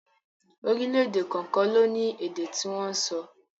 Orílẹ̀èdè kọ̀ọ̀kan ló ní èdè tí wọ́n ń sọ